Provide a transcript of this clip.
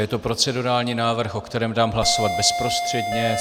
Je to procedurální návrh, o kterém dám hlasovat bezprostředně.